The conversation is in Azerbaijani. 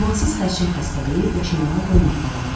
Amansız xərçəng xəstəliyi yaşamağa qoymadı babamı.